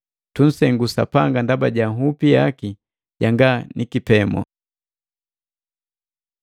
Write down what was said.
Tunsengu Sapanga ndaba ja nhupi yaki janga nikipemu!